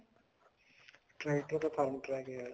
tractor ਤਾਂ Farmtrac ਹੈ